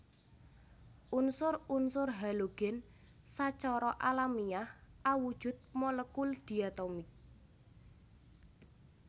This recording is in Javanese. Unsur unsur halogen sacara alamiah awujud molekul diatomik